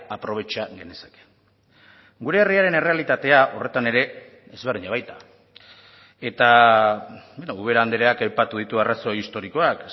aprobetxa genezake gure herriaren errealitatea horretan ere ezberdina baita eta ubera andreak aipatu ditu arrazoi historikoak